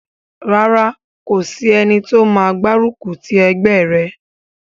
Rárá, kò sí ẹni tó máa gbárùkù ti ẹgbẹ́ rẹ̀